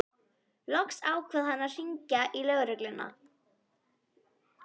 Loks ákvað hann að hringja í lögregluna.